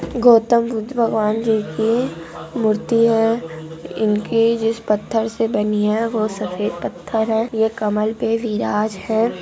गौतम बुद्ध भगवान जी की मूर्ति है इनके जिस पथर से बनी है वो सफेद पत्थर है ये कमल पर बिराज है--